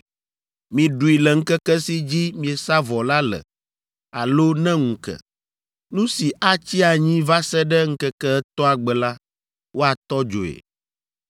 Miɖui le ŋkeke si dzi miesa vɔ la le alo ne ŋu ke. Nu si atsi anyi va se ɖe ŋkeke etɔ̃a gbe la, woatɔ dzoe,